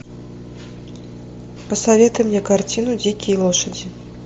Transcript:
посоветуй мне картину дикие лошади